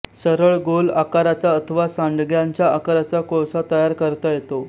सरळ गोल आकाराचा अथवा सांडग्याच्या आकाराचा कोळसा तयार करता येतो